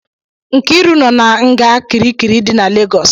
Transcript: Nkiru nọ na nga kirikiri dị na Legọs